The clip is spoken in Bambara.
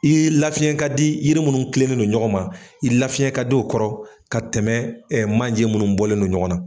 I ye lafiyɛn ka di yiri munnu kilennen don ɲɔgɔn ma i lafiyɛn ka di o kɔrɔ ka tɛmɛ manjɛ munnu bɔlen don ɲɔgɔn na.